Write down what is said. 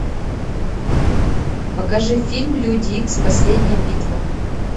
покажи фильм люди икс последняя битва